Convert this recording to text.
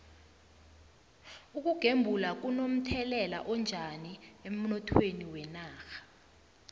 ukugembula kuno mthelela onjani emnothweni wenarha